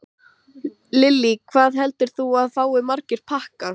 Öndvert við álnavörubúðina var mjólkurbúðin hráslagaleg og köld búð.